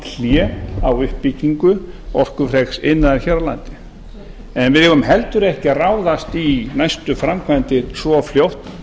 hlé á uppbyggingu orkufreks iðnaðar hér á landi en við eigum heldur ekki að ráðast í næstu framkvæmdir svo fljótt